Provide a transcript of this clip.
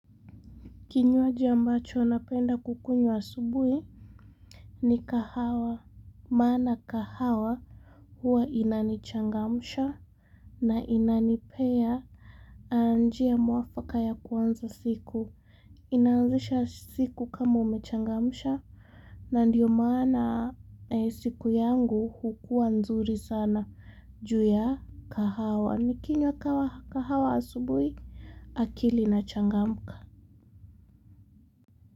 Kinywaji ambacho napenda kukunywa asubuhi ni kahawa, maana kahawa huwa inani changamsha na inanipea njia mwafaka ya kuanza siku. Inaanzisha siku kama umechangamsha na ndiyo maana siku yangu hukuwa nzuri sana ju ya kahawa nikinywa kawa kahawa asubuhi akili ina changamka.